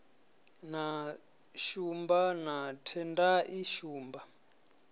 na shumba na tendai shumba